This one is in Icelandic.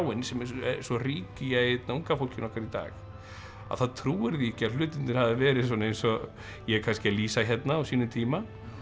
sem er svo rík í unga fólkinu okkar í dag að það trúir því ekki að hlutirnir hafi verið svona eins og ég er kannski að lýsa hérna á sínum tíma